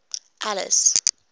alice